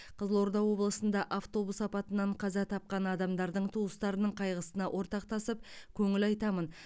қызылорда облысында автобус апатынан қаза тапқан адамдардың туыстарының қайғысына ортақтасып көңіл айтамын